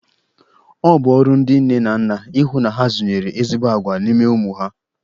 Ọ bụ ọrụ ndị nne na nna ihụ na ha zụnyere ezigbo agwa n'ime ụmụ ha.